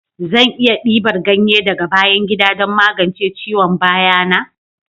Zan iya dibar ganye daga bayan gida don magance ciwon baya na?